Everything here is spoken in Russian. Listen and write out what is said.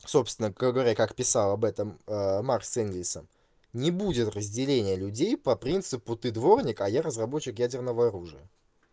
собственно как говоря как писал об этом маркс с энгельсом не будет разделения людей по принципу ты дворник а я разработчик ядерного оружия